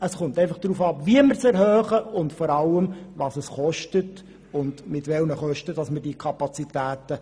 Es kommt aber darauf an, wie man diese erhöht und vor allem mit welchen Kosten wir dies tun.